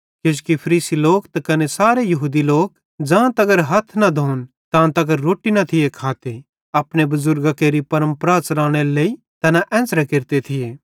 किजोकि फरीसी लोक त कने सारे यहूदी लोक ज़ां तगर हथ न धोन तां तगर रोट्टी न खाते थिये अपने बुज़ुर्गां केरि परमपरा च़लानेरे लेइ तैना एन्च़रां केरते थिये